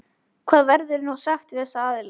Hvað verður nú sagt við þessa aðila?